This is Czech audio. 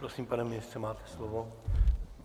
Prosím, pane ministře, máte slovo.